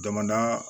Jamana